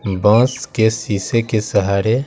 बांस के शीशे के सहारे--